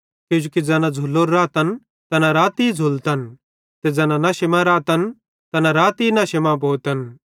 किजोकि ज़ैना झ़ुलोरे रातन तैना राती झ़ूलतन ते ज़ैना नशे मां रातन तैना राती नशे मां भोतन